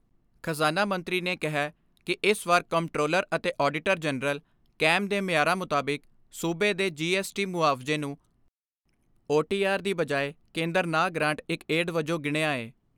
ਖਜ਼ਾਨਾ ਮੰਤਰੀ ਨੇ ਕਿਹੈ ਕਿ ਇਸ ਵਾਰ ਕੰਪਟਰੋਲਰ ਅਤੇ ਆਡੀਟਰ ਜਨਰਲ ਕੈਮ ਦੇ ਮਿਆਰਾਂ ਮੁਤਾਬਿਕ ਸੂਬੇ ਦੇ ਜੀ ਐਸ ਟੀ ਮੁਆਵਜ਼ੇ ਨੂੰ ਓ ਟੀ ਆਰ ਦੀ ਬਜਾਏ ਕੇਂਦਰ ਨਾਂ ਗਰਾਂਟ ਇਕ ਏਡ ਵਜੋਂ ਗਿਣਿਆ ਏ।